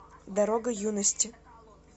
дорога юности